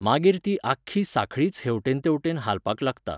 मागीर ती आख्खी सांखळीच हेवटेन तेवटेन हालपाक लागता.